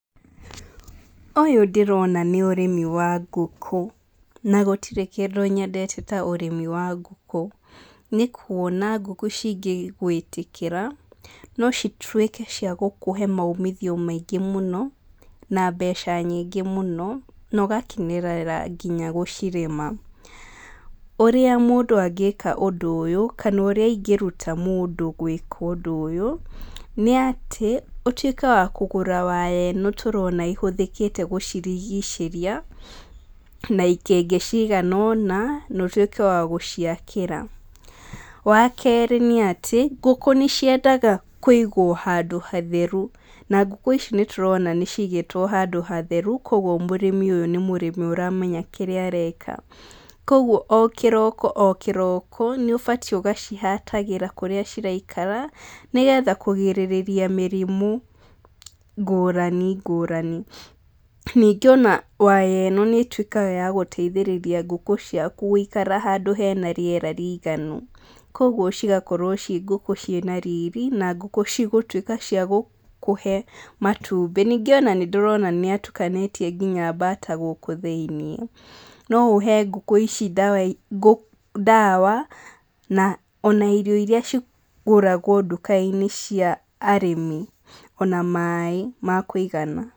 Ũyũ ndĩrona nĩ ũrĩmi wa ngũkũ, na gũtire kĩndũ nyendete ta ũrĩmi wa ngũkũ, nĩ kuona ngũkũ cingĩgwitĩkĩra no cituĩke cia gũkũhe maumithio maingĩ mũno, na mbeca nyingĩ mũno, na ũgakenerera nginya gũcirĩma. Ũrĩa mũndũ angĩka ũndũ ũyũ, kana ũrĩa ingĩruta mũndũ gwĩka ũndũ ũyũ nĩ atĩ ũtuĩke wa kũgũra waya ĩno tũrona ĩhũthĩkĩte gĩcirigicĩria, na ikĩngĩ cigana ũna na ũtuĩke wa gũciakĩra. Wakerĩ nĩ atĩ ngũkũ nĩ ciendaga kũigwo handũ hatheru, na ngũkũ ici nĩ tũrona nĩ cigĩtwo handũ hatheru kuũguo mũrĩmi ũyũ nĩ mũrĩmi ũramenya kĩrĩa areka. Kuũguo o kiroko o kĩroko nĩ ũbatiĩ ũgaciharatĩra kũrĩa ciraikara nĩ getha kũgirĩrĩria mĩrimũ ngũrani ngũrani. Ningĩ ona waya ĩno nĩ ĩtuĩkaga ya gũteithĩrĩria ngũkũ ciaku gũikara handũ hena rĩera rĩiganu kuũguo cigakorwo ciĩ ngũkũ ciĩ na riri na ngũkũ cigũtuĩka cia gũkũhe matumbĩ. Ningĩ ona nĩ ndĩrona nĩ atukanĩtie nginya bata gũkũ thiĩniĩ. No ũhe ngũkũ ici ndawa na ona irio iria cigũragwo nduka-inĩ cia arĩmi ona maĩ ma kũĩgana.